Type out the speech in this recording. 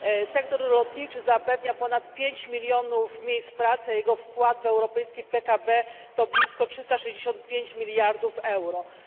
Sektor lotniczy zapewnia ponad pięć milionów miejsc pracy, a jego wkład w europejski PKB to blisko 365 miliardów euro.